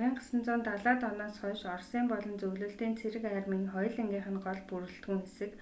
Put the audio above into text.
1970-д оноос хойш оросын болон зөвлөлтийн цэрэг армийн хоёулангийнх нь гол бүрэлдэхүүн хэсэг